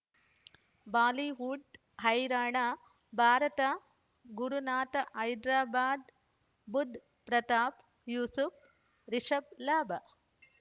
Bollywood ಹೈರಾಣ ಭಾರತ ಗುರುನಾಥ ಹೈದರಾಬಾದ್ ಬುಧ್ ಪ್ರತಾಪ್ ಯೂಸುಫ್ ರಿಷಬ್ ಲಾಭ